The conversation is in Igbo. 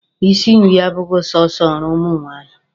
Isi nri abụghị sọsọ ọrụ ụmụ nwaanyị.